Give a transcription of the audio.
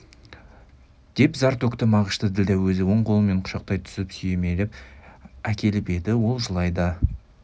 деп зар төкті мағышты ділдә өзі оң қолымен құшақтай түсіп сүйемелеп әкеліп еді ол жылай да